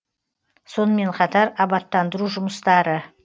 сонымен қатар абаттандыру жұмыстары